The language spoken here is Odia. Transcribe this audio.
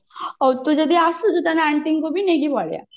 ହଉ ତୁ ଯଦି ଆସୁଛୁ ତାହାଲେ aunty ଙ୍କୁ ବି ନେଇକି ପଳେଇଆ